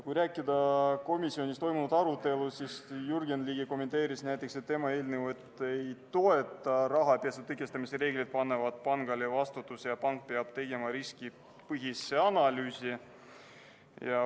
Kui rääkida komisjonis toimunud arutelust, siis näiteks Jürgen Ligi kommenteeris, et tema seda eelnõu ei toeta, sest rahapesu tõkestamise reeglid panevad pangale vastutuse ja pank peab tegema riskipõhise analüüsi.